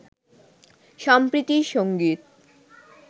সম্প্রীতির সঙ্গীত